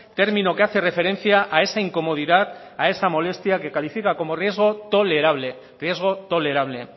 término que hace referencia a esa incomodidad a esa molestia que califica como riesgo tolerable riesgo tolerable